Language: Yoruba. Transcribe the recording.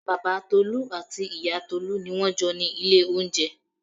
Bàbá Tolu àti ìyá Tolu ni wọ́n jọ ni ilé oúnjẹ.